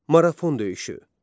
Marafon döyüşü.